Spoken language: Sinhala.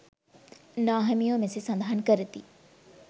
නාහිමියෝ මෙසේ සඳහන් කරති.